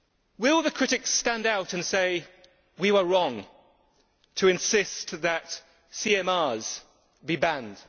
Will the critics stand up and say, We were wrong to insist that CMRs be banned'?